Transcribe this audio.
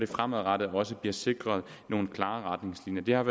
fremadrettet også bliver sikret nogle klare retningslinjer det har